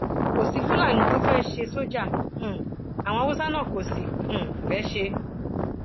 kò sí fúlàní tó fẹẹ ṣe sójà um àwọn haúsá náà kò sì um fẹẹ ṣe